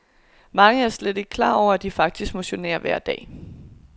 Mange er slet ikke klar over, at de faktisk motionerer til hverdag.